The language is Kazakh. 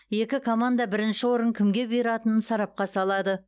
екі команда бірінші орын кімге бұйыратынын сарапқа салады